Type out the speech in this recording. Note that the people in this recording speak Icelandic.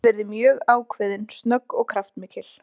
Ég get verið mjög ákveðin, snögg og kraftmikil.